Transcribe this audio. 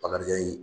Bakarijan ye